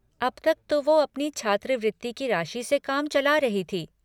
अब तक तो वो अपनी छात्रवृत्ति की राशि से काम चला रही थी।